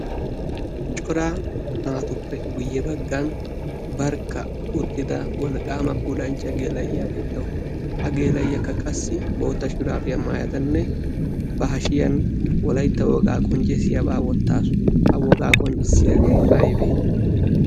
coraa naatuppe guyye baggan barkka uttida wolqqaama pulanchcha gella''iyaa beettawu ha geela'iyaakka qassi bootta shiraafiyaa maayadanne ba hashiyan wolaytta wogaa qonccessiyaabaa wottaasu ha wogaa qonccissiyaagee aybee